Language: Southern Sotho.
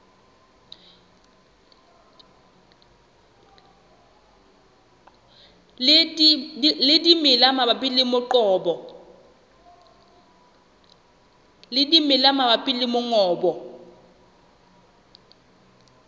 le dimela mabapi le mongobo